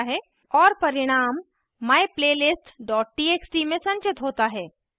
और परिणाम myplaylist txt में संचित होता है